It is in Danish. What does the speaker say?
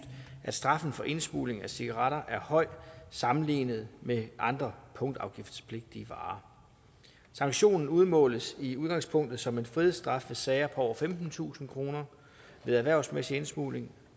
at straffen for indsmugling af cigaretter er høj sammenlignet med andre punktafgiftspligtige varer sanktionen udmåles i udgangspunktet som en frihedsstraf ved sager på over femtentusind kroner ved erhvervsmæssig indsmugling